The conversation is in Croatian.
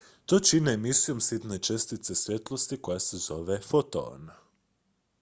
"to čine emisijom sitne čestice svjetlosti koja se zove "foton.""